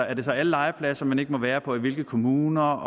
er det så alle legepladser man ikke må være på eller i hvilke kommuner